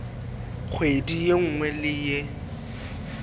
kgwedi ye nngwe le ye